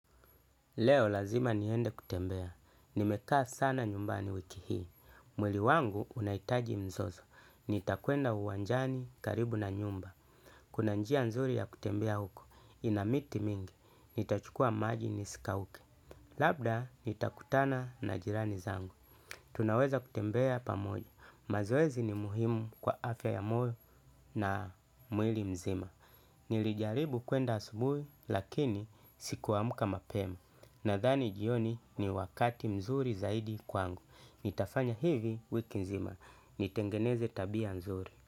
Leo lazima niende kutembea. Nimekaa sana nyumbani wiki hii. Mwili wangu unahitaji mzozo. Nitakwenda uwanjani karibu na nyumba. Kuna njia nzuri ya kutembea huko. Inamiti mingi. Nitachukua maji nisikauke. Labda nitakutana na jirani zangu. Tunaweza kutembea pamoja. Mazoezi ni muhimu kwa afya ya moyo na mwili mzima. Nilijaribu kwenda asubuhi lakini sikua mka mapema. Nathani jioni ni wakati mzuri zaidi kwangu. Nitafanya hivi wiki nzima. Nitengeneze tabia nzuri.